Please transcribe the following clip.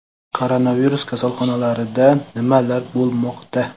Koronavirus kasalxonalarida nimalar bo‘lmoqda?